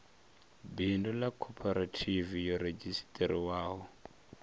bindu ḽa khophorethivi yo redzhisiṱarisiwaho